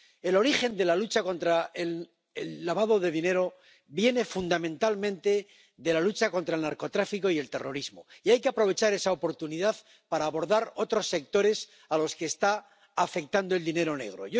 El origen de la lucha contra el lavado de dinero viene fundamentalmente de la lucha contra el narcotráfico y el terrorismo, y hay que aprovechar esa oportunidad para abordar otros sectores a los que está afectando el dinero negro.